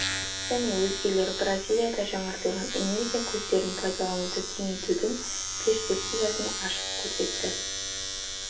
және өзгелер бразилияда жаңартылатын энергия көздерін пайдалануды кеңейтудің перспективасын ашып көрсетті